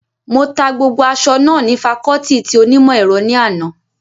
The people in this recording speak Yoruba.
Mo ta gbogbo aṣọ náà ní fakọọti ti onímọ̀ ẹ̀rọ ní àná